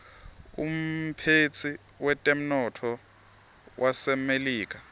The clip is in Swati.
umphetsi wetemnotto wasemelika